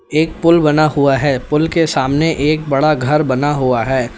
एक पुल बना हुआ है पुल के सामने एक बड़ा घर बना हुआ है।